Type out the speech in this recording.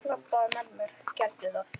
Labbaðu með mér, gerðu það!